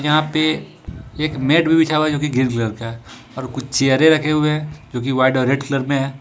यहां पे एक मैट भी बिछा हुआ है जो कि ग्रीन कलर का है और कुछ चेयरे रखे हुए हैं जो कि व्हाईट और रेड कलर में है।